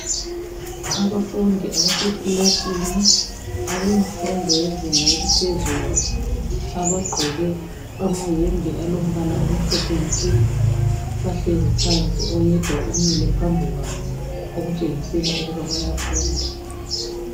Abafundi abasekilasini abemfundo lezinga eliphezulu abagqoke amayembe alombala omhlophe nke bahlezi phansi. Oyedwa umile phambi kwabo okutshengisela ukuba bayafunda.